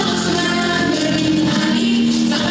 Cananım mənim, cananım mənim.